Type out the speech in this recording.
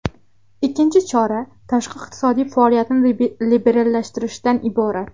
Ikkinchi chora tashqi iqtisodiy faoliyatni liberallashtirishdan iborat.